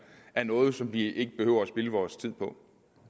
af noget som vi ikke behøver at spilde vores tid på